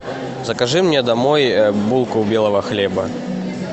закажи мне домой булку белого хлеба